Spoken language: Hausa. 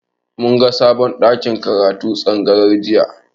Mun ga sabon ɗakin karatun tsangayar jiya.